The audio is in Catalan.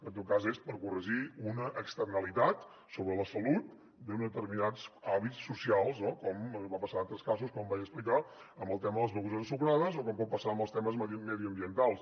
en tot cas és per corregir una externalitat sobre la salut d’uns determinats hàbits socials no com va passar en altres casos com vaig explicar amb el tema de les begudes ensucrades o com pot passar amb els temes mediambientals